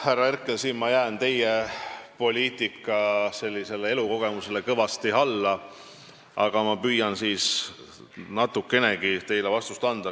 Härra Herkel, ma jään siin teie poliitilisele elukogemusele kõvasti alla, aga ma püüan teile natukenegi vastust anda.